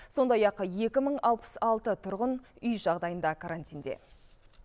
сондай ақ екі мың алпыс алты тұрғын үй жағдайында карантинде